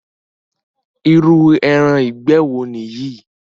Irú ẹran ìgbẹ́ wo nìyí?